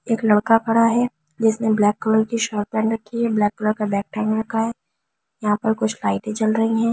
एक लड़का खड़ा है जिसने ब्लैक कलर की शर्ट पहन रखी है ब्लैक कलर का बेग टांग रखा है यहां पर कुछ लाइट भी जल रही है।